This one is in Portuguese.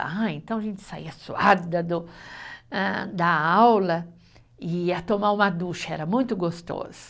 Ah, então a gente saia suada do, hã da aula e ia tomar uma ducha, era muito gostoso.